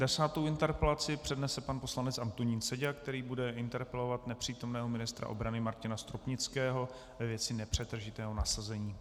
Desátou interpelaci přednese pan poslanec Antonín Seďa, který bude interpelovat nepřítomného ministra obrany Martina Stropnického ve věci nepřetržitého nasazení.